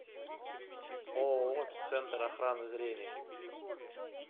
ооо центр охраны зрения